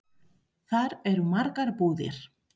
Þar eru margar búðir.